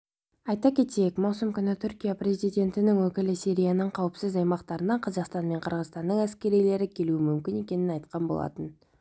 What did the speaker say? айта кетейік маусым күні түркия президентінің өкілі сирияның қауіпсіз аймақтарына қазақстан мен қырғызстанның әскерилері келуі мүмкін екенін айтқан болатын